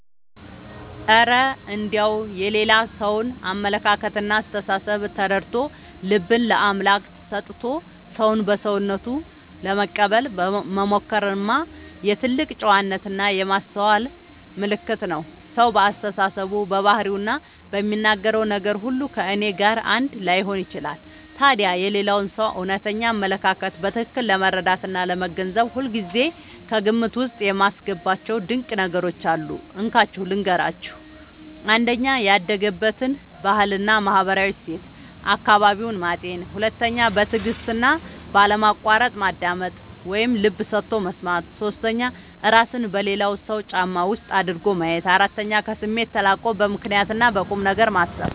እረ እንደው የሌላ ሰውን አመለካከትና አስተሳሰብ ተረድቶ፣ ልብን ለአምላክ ሰጥቶ ሰውን በሰውነቱ ለመቀበል መሞከርማ የትልቅ ጨዋነትና የማስተዋል ምልክት ነው! ሰው በአስተሳሰቡ፣ በባህሪውና በሚናገረው ነገር ሁሉ ከእኔ ጋር አንድ ላይሆን ይችላል። ታዲያ የሌላውን ሰው እውነተኛ አመለካከት በትክክል ለመረዳትና ለመገንዘብ ሁልጊዜ ከግምት ውስጥ የማስገባቸው ድንቅ ነገሮች አሉ፤ እንካችሁ ልንገራችሁ - 1. ያደገበትን ባህልና ማህበራዊ እሴት (አካባቢውን) ማጤን 2. በትዕግስትና ባለማቋረጥ ማዳመጥ (ልብ ሰጥቶ መስማት) 3. እራስን በሌላው ሰው ጫማ ውስጥ አድርጎ ማየት 4. ከስሜት ተላቆ በምክንያትና በቁምነገር ማሰብ